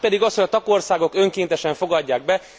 A másik pedig az, hogy a tagországok önkéntesen fogadják be.